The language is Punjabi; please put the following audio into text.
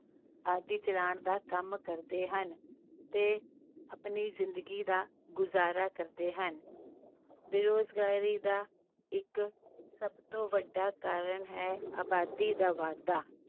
ਆਦਿ ਚਲਾਉਣ ਦਾ ਕੰਮ ਕਰਦੇ ਹਨ, ਤੇ ਆਪਣੀ ਜ਼ਿੰਦਗੀ ਦਾ ਗੁਜ਼ਾਰਾ ਕਰਦੇ ਹਨ, ਬੇਰੁਜ਼ਗਾਰੀ ਦਾ ਇੱਕ ਸਭ ਤੋਂ ਵੱਡਾ ਕਾਰਨ ਹੈ ਆਬਾਦੀ ਦਾ ਵਾਧਾ।